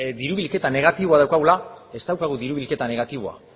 diru bilketa negatiboa daukagula ez daukagu diru bilketa negatiboa